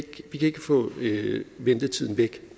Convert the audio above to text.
ikke få ventetiden væk